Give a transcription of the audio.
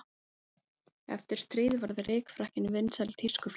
Eftir stríð varð rykfrakkinn vinsæl tískuflík.